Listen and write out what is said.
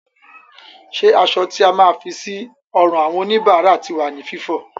Ṣé aṣọ tí a máa ń fi sí ọrùn àwọn òníbára ti wà ní Fífọ?